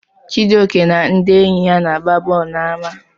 Chijioke na ndị enyi ya na-agba bọọlụ n'ama.